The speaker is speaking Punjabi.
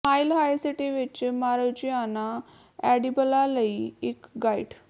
ਮਾਈਲ ਹਾਈ ਸਿਟੀ ਵਿਚ ਮਾਰਿਜੁਆਨਾ ਐਡੀਬਲਾਂ ਲਈ ਇਕ ਗਾਈਡ